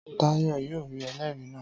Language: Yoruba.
Táyọ̀ yóò rí ẹlẹ́rìí náà